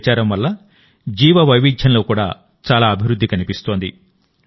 ఈ ప్రచారం వల్ల జీవవైవిధ్యంలో కూడా చాలా అభివృద్ధి కనిపిస్తోంది